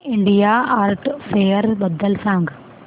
India art fair बद्दल सांग